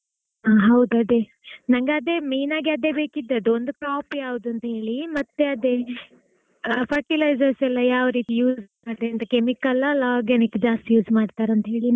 ಹಾ ಹೌದು ಅದೇ ನನಗೆ main ಆಗಿ ಈಗ ಅದೇ ಬೇಕಿದ್ದರೂ ಒಂದು crop ಯಾವ್ದು ಅಂತ ಹೇಳಿ ಮತ್ತೆ ಅದೇ fertilizer ಎಲ್ಲಾ ಯಾವ ರೀತಿ use ಮಾಡ್ತಾರೆ ಅಂತಾ. chemical ಆ ಇಲ್ಲ organic ಜಾಸ್ತಿ use ಮಾಡ್ತಾರಾ ಅಂತ ಹೇಳಿ.